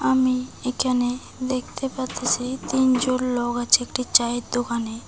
আমি এইকানে দেখতে পারতাসি তিনজন লোক আছে একটি চায়ের দোকানে।